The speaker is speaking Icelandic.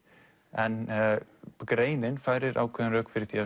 en greinin færir ákveðin rök fyrir því að